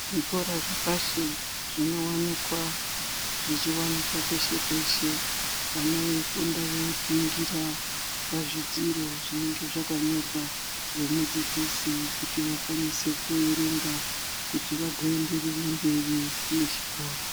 Zvikora zvepashi zvinowanikwa zvichiwanikwa peshe peshe vana veifunda veiningira pazvidziro zvinenge zvakanyorwa ngemudzidzisi kuti vakwanise kuerenga kuti vagoenderere mberi nechikora.